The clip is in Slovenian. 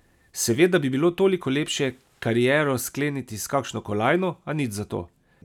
Seveda bi bilo toliko lepše kariero skleniti s kakšno kolajno, a nič zato.